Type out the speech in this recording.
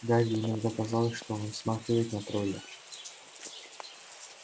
гарри иногда казалось что он смахивает на тролля